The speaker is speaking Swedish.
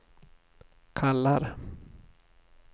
kallar